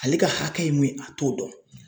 Ale ka hakɛ ye mun ye a t'o dɔn